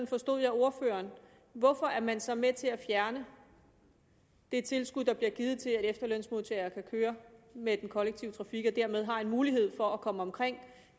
forstod jeg ordføreren hvorfor er man så med til at fjerne det tilskud der bliver givet til at efterlønsmodtagere kan køre med den kollektive trafik og dermed har mulighed for at komme omkring